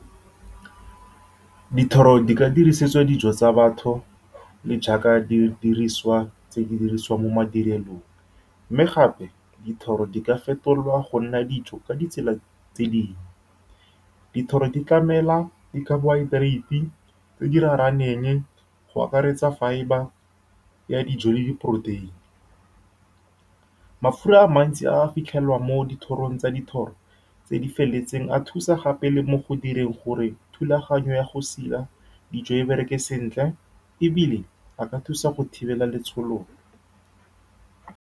Dithoro di ka dirisetswa dijo tsa batho le jaaka di dirisiwa tse di dirisiwang mo madirelong, mme gape, dithoro di ka fetolwa go nna dijo ka ditsela tse dingwe. Dithoro di tlamela di-carbohydrate tse di rarahaneng, go akaretsa fibre ya dijo le diporoteini. Mafura a mantsi a a fitlhelwang mo dithorong tsa dithoro tse di feletseng a thusa gape le mo go direng gore thulaganyo ya go sila dijo e bereke sentle, ebile a ka thusa go thibela letshololo.